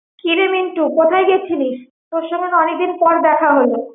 কি রে মিন্টু, কোথায় গেছিলিস? তোর সঙ্গে না অনেকদিন পর দেখা হলো।